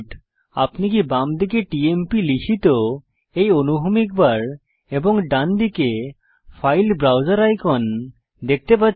আপনি কি বামদিকে টিএমপি লিখিত এই অনুভূমিক বার এবং ডান দিকে ফাইল ব্রাউসের আইকন দেখতে পাচ্ছেন